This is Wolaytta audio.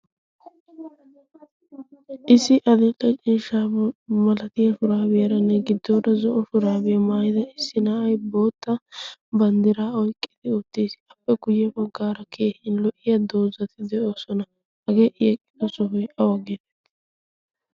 issi adil"e ciishshaa malatiyaa shuraabiyaanne giddora zo'o shuraabiyaa maayida na'ay bootta banddiraa oyqqidi uttiis. qa guyye baggaara lo"iyaa doozzati de"oosona. hagee i eqqido soohoy awa geetteti xeegettii?